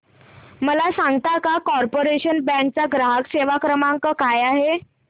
मला सांगता का कॉर्पोरेशन बँक चा ग्राहक सेवा क्रमांक काय आहे